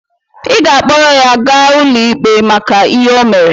Ị ga-akpọrọ ya gaa n'ụlọ ikpe maka ihe o mere!